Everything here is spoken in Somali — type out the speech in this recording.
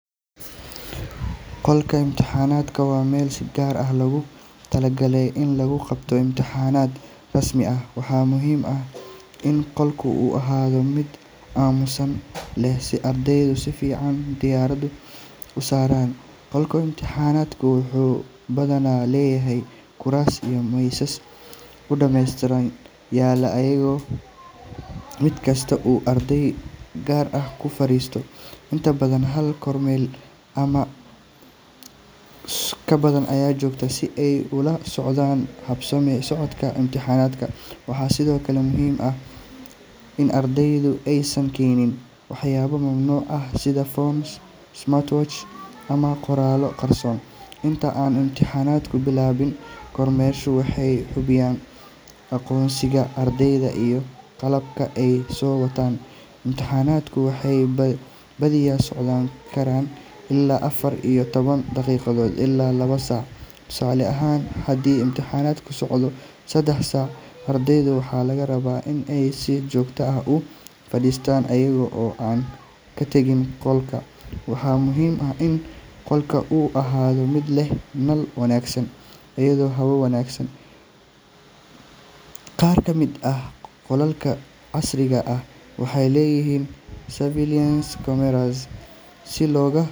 Qolka imtixaanka waa meel si gaar ah loogu talagalay in lagu qabto imtixaanada rasmi ah. Waxaa muhiim ah in qolka uu ahaado mid aamusnaan leh si ardaydu si fiican diiradda u saaraan. Qolka imtixaanka wuxuu badanaa leeyahay kuraas iyo miisas si nidaamsan u yaalla, iyadoo mid kasta uu arday gaar ah ku fariisto. Inta badan, hal kormeerayaal ama ka badan ayaa jooga si ay ula socdaan habsami u socodka imtixaanka. Waxaa sidoo kale muhiim ah in ardayda aysan keenin waxyaabo mamnuuc ah sida phones, smart watches, ama qoraallo qarsoon. Inta aan imtixaanku bilaabanin, kormeerayaashu waxay hubiyaan aqoonsiga ardayda iyo qalabka ay soo wataan. Imtixaanadu waxay badiyaa socon karaan ilaa afar iyo toban daqiiqo ilaa laba saac. Tusaale ahaan, haddii imtixaanku socdo saddex saac, ardayda waxaa laga rabaa in ay si joogto ah u fadhistaan iyaga oo aan ka tegin qolka. Waxaa muhiim ah in qolka uu ahaado mid leh nal wanaagsan iyo hawo wanaagsan. Qaar ka mid ah qolalka casriga ah waxay leeyihiin surveillance cameras si looga.